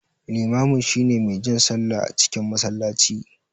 Liman shine mai jan sallah a cikin masallaci.